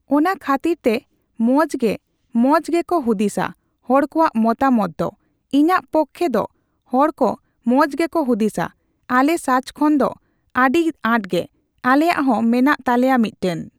ᱚᱱᱟ ᱠᱷᱟᱹᱛᱤᱨ ᱛᱮ ᱢᱚᱸᱡᱽ ᱜᱮ, ᱢᱚᱸᱡᱽ ᱜᱮᱠᱚ ᱦᱩᱫᱤᱥᱟ, ᱦᱚᱲ ᱠᱚᱣᱟᱜ ᱢᱚᱛᱟᱢᱚᱛ ᱫᱚ᱾ ᱤᱧᱟᱹᱜ ᱯᱚᱠᱠᱷᱮ ᱫᱚ ᱦᱚᱲ ᱠᱚ ᱢᱚᱸᱡᱽ ᱜᱮᱠᱚ ᱦᱩᱫᱤᱥᱟ᱾ ᱟᱞᱮ ᱥᱟᱪ ᱠᱷᱚᱱ ᱫᱚ ᱫᱚ ᱟᱹᱰᱤ ᱟᱸᱴ ᱜᱮ᱾ ᱟᱞᱮᱭᱟᱜ ᱦᱚᱸ ᱢᱮᱱᱟᱜ ᱛᱟᱞᱮᱭᱟ ᱢᱤᱫᱴᱮᱱ᱾